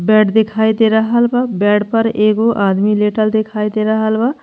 Bed दिखाई दे रहल बा। बेड पर एगो आदमी लेटल दिखाई दे रहल बा।